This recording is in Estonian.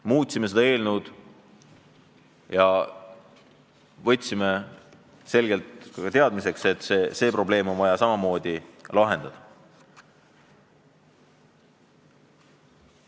Me muutsime eelnõu ja võtsime selgelt teadmiseks, et see probleem on vaja samamoodi lahendada.